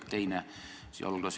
Nii ei ole võimalik uut elu alustada.